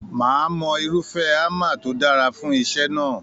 Máà mọ irufẹ hámà tó dára fún iṣẹ náà.